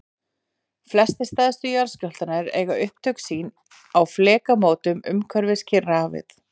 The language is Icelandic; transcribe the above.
flestir stærstu jarðskjálftarnir eiga upptök sín á flekamótum umhverfis kyrrahafið